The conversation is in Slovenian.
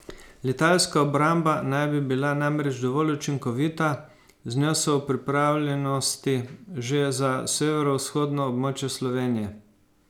Letalska obramba naj bi bila namreč dovolj učinkovita, z njo so v pripravljenosti že za severovzhodno območje Slovenije.